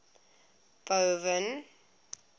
boven